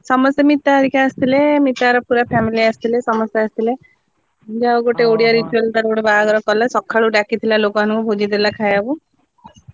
ସମସ୍ତେ ମିତା ହେରିକା ଆସିଥିଲେ, ମିତାର ପୁରା family ଆସିଥିଲେ, ସମସ୍ତେ ଆସିଥିଲେ। ଯାହା ହଉ ଗୋଟେ ଓଡିଆ ତିଥି ଗୋଟେ ବାହାଘର କଲା, ସକାଳୁ ଡାକିଥିଲା ଲୋକମାନଙ୍କୁ ଭୋଜି ଦେଲା ଖାଇବାକୁ।